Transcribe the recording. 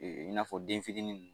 i n'a fɔ den fitini nin.